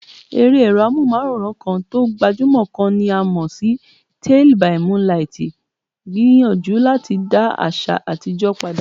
Eré èrò amóhùnmáwòrán kan tó gbajúmò kan tí a mọ̀ sí Tálíì bì múńlaitì gbìyànjú láti dá àṣà àtijó padà.